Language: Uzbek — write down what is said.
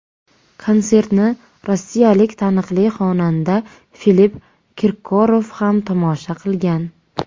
Konsertni rossiyalik taniqli xonanda Filipp Kirkorov ham tomosha qilgan.